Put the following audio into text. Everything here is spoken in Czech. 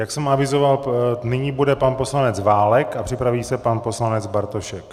Jak jsem avizoval, nyní bude pan poslanec Válek a připraví se pan poslanec Bartošek.